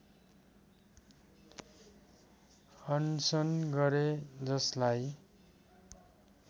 अनसन गरे जसलाई